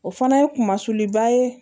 O fana ye kunliba ye